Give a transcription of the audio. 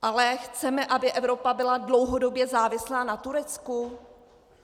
Ale chceme, aby Evropa byla dlouhodobě závislá na Turecku?